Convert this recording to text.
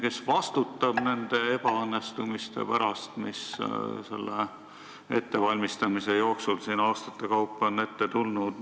Kes vastutab nende ebaõnnestumiste eest, mis on selle ettevalmistamise jooksul aastate kaupa ette tulnud?